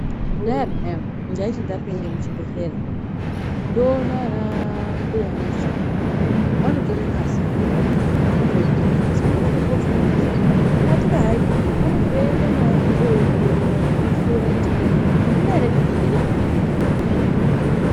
Kudhaya peyani ndaiti ndapinda muchibhedhlera ndoona anambuya nesi vanotora ngazi ndotame kuti vanoda kumboidini asi vanoda kuzombondidini katika hai vanenge veida koiongorora nekuhloya kuti andina ere zvirwere zvandinge ndinazvo.